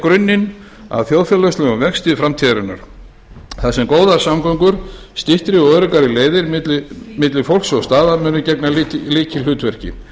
grunninn að þjóðfélagslegum vexti framtíðarinnar þar sem góðar samgöngur styttri og öruggar leiðir milli fólks og staða munu gegna lykilhlutverki